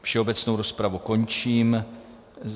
Všeobecnou rozpravu končím.